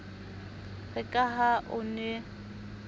re ka ha o ne